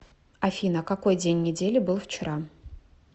афина какой день недели был вчера